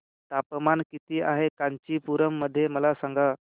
तापमान किती आहे कांचीपुरम मध्ये मला सांगा